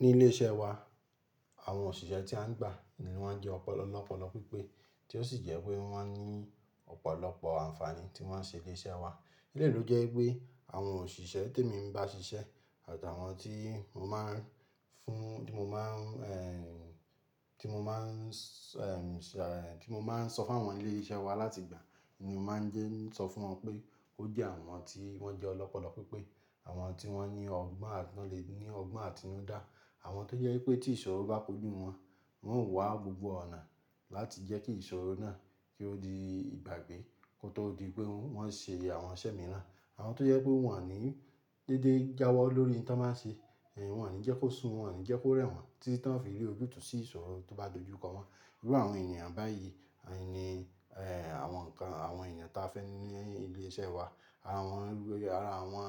Ní ilé iṣẹ́ wa àwọn òṣìṣẹ́ tí a ń gbà ni wọ́n jẹ́ ọ̀pọ̀lọpọ̀ lọ́pọ̀lọpọ̀ pípé tí ó sì jẹ́ pé wọ́n máa ń ní ọ̀pọ̀lọpọ̀ àǹfààní tí wọ́n ṣe léṣẹ́ wa. Lélòó jẹ́ pé àwọn òṣìṣẹ́ tí èmi ń bá ṣiṣẹ́ àtàwọn tí mo máa ń fún-- tí mo máa ń, ẹ́ẹ́, tí mo máa ń ṣà, ẹ́ẹ́, tí mo máa ń sọ fún àwọn ilé iṣẹ́ wa láti gbà ni mo máa ń jẹ́ sọ fún wọn pé ó jẹ́ àwọn tí wọ́n jẹ́ ọ̀pọ̀lọpọ̀ pípé, àwọn tí wọ́n ní ọgbọ́n àtinú, lè ní ọgbọ́n àtinúdá, àwọn tó jẹ́ pé tí ìṣòro bá kojú wọn, wọn wà gbogbo ọ̀nà láti jẹ́ kí ìṣòro náà kí ó di ìgbàgbé kó tó di pé wọn ṣe àwọn iṣẹ́ mìíràn. Àwọn tó jẹ́ pé wọn ò ní dédé jáwọ́ lórí ohun tí wọ́n máa ń ṣe, ẹ́ẹ́, wọn ò ní jẹ́ kó sùn, wọn ò ní jẹ́ kó rẹ̀ wọ́n títí tán fi rí ojútùú sí ìṣòro tó bá dojú kọ wọn. Gẹ́gẹ́ bí àwọn ènìyàn báyìí, ẹ́ẹ́, ni àwọn ǹkan, àwọn ènìyàn tí a fẹ́ ní ilé iṣẹ́ wa. Ara wọn, ara àwọn,